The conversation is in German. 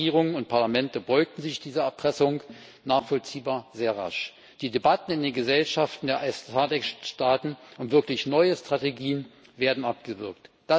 Die Partnerregierungen und Parlamente beugten sich dieser Erpressung nachvollziehbar sehr rasch. Die Debatten in den Gesellschaften der SADC-Staaten und wirklich neue Strategien werden abgewürgt.